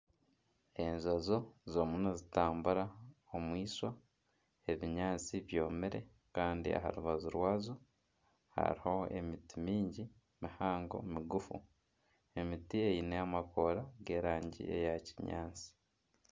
Enjojo zirimu nizitambura omwishawa. Ebinyaatsi byomire kandi aha rubaju rwazo hariho emiti mingi mihango migufu. Emiti eine amakoora g'erangi eya kinyaatsi.